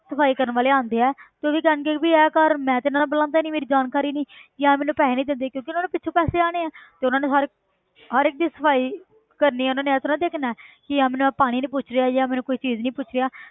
ਸਫ਼ਾਈ ਕਰਨ ਵਾਲੇ ਆਉਂਦੇ ਹੈ ਤੇ ਉਹ ਵੀ ਕਹਿਣਗੇ ਵੀ ਇਹ ਘਰ ਮੈਂ ਤਾਂ ਇਹਨਾਂ ਨੂੰ ਬੁਲਾਉਂਦਾ ਹੀ ਨੀ ਮੇਰੀ ਜਾਣਕਾਰ ਹੀ ਨੀ ਯਾਰ ਮੈਨੂੰ ਪੈਸੇ ਨੀ ਦਿੰਦੇ ਕਿਉਂਕਿ ਉਹਨਾਂ ਨੂੰ ਪਿੱਛੋਂ ਪੈਸੇ ਆਉਣੇ ਹੈ ਤੇ ਉਹਨਾਂ ਨੇ ਹਰ ਹਰ ਇੱਕ ਦੀ ਸਫ਼ਾਈ ਕਰਨੀ ਉਹਨਾਂ ਨੇ ਇਹ ਥੋੜ੍ਹਾ ਦੇਖਣਾ ਹੈ ਕਿ ਇਹ ਮੈਨੂੰ ਪਾਣੀ ਨੀ ਪੁੱਛ ਰਿਹਾ ਜਾਂ ਮੈਨੂੰ ਕੋਈ ਚੀਜ਼ ਨਹੀ ਪੁੱਛ ਰਿਹਾ।